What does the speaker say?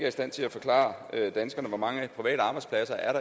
i stand til at forklare danskerne hvor mange private arbejdspladser